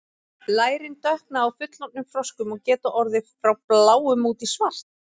lærin dökkna á fullorðnum froskum og geta orðið frá bláum út í svart